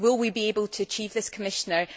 Will we be able to achieve this, Commissioner?